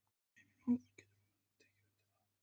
Heimir Már: Getur þú tekið undir það?